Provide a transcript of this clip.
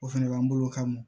O fɛnɛ b'an bolo o ka mɔn